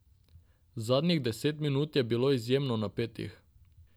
Zadnjih deset minut je bilo izjemno napetih.